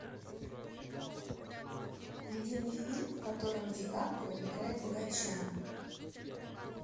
найди мне фильм в котором ди каприо играет богача